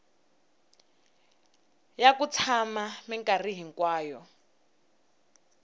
ya ku tshama minkarhi hinkwayo